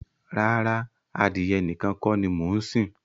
Rárá, adìyẹ nìkan kọ́ ni mo ń sìn.